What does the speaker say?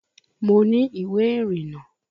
Mo ní ìwé ìrìnnà